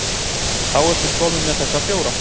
Þá ertu kominn með þessa fjóra.